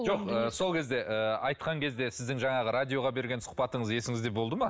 жоқ ыыы сол кезде ыыы айтқан кезде сіздің жаңағы радиоға берген сұқбатыңыз есіңізде болды ма